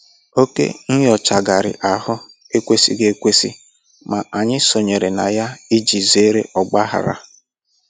Oke nnyochagharị ahụ ekwesịghị ekwesị, ma anyị sonyere na ya iji zere ọgbaghara